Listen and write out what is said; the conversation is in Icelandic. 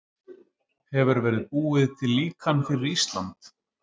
Hefur verið búið til líkan fyrir Ísland?